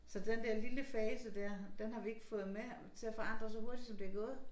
Så den der lille fase dér den har vi ikke fået med til at forandre så hurtigt som det er gået